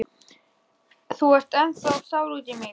Þú ert ennþá sár út í mig.